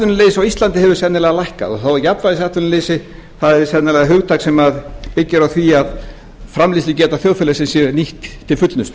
á íslandi hefur sennilega lækkað þá er jafnvægisatvinnuleysi það er sennilega hugtak sem byggir því að framleiðslugeta þjóðfélagsins sé nýtt til fullnustu